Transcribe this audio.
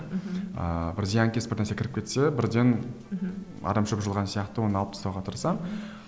мхм ыыы бір зиянкес бір нәрсе кіріп кетсе бірден мхм арам шөп жұлған сияқты оны алып тастауға тырысамын